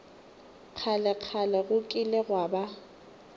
kgalekgale go kile gwa ba